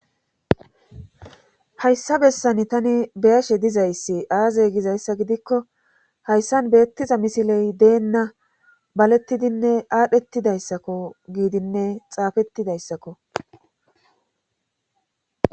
hayssa bessan tani beyashe dizayssi aazey gizayssa gidikko hayssan beettiza misiley deenna balettidinne aadhdhettidayssakko giidinne xaafettidayssakko